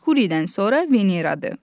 Merkuridən sonra Veneradır.